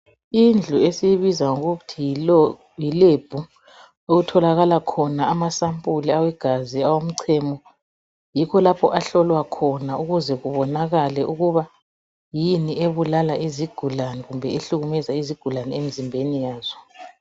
indlu esiyibiza ngokuthi yi lab okutholakala khona ama sempuli egazi owomchemo yikho lapho ahlola khona ukuze kubonakale ukuba yini ebulala izigulane kumbe ehlumeza izigulane emzimbeni yazo